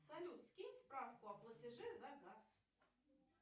салют скинь справку о платеже за газ